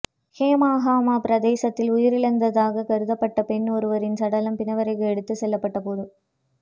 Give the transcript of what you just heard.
ஹோமாகம பிரதேசத்தில் உயிரிழந்ததாகக் கருதப்பட்ட பெண் ஒருவரின் சடலம் பிணவறைக்கு எடுத்துச் செல்லப்பட்ட போது